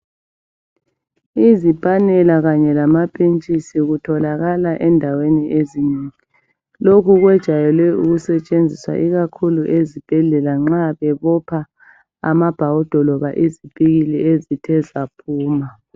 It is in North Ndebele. Izipanela kanye lamapintshisi kutholakala endaweni ezinengi. Lokhu kwejayele ukusetshenziswa ikakhulu ezibhedlela nxa bebopha amabhawudo loba izipikili ezithe zaphuma.